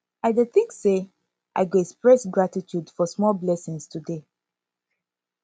i dey think say i go express gratitude for small blessings today